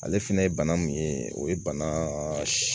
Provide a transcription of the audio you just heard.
Ale fɛnɛ ye bana mun ye o ye bana